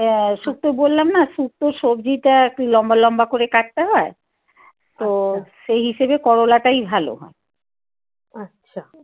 আহ শুক্তো বললাম না শুক্তো সবজিটা একটু লম্বা লম্বা করে কাটতে হয়। তো সেই হিসেবে করলাটাই ভালো। আচ্ছা।